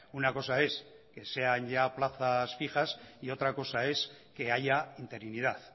una cosa es que sean ya plazas fijas y otra cosa es que haya interinidad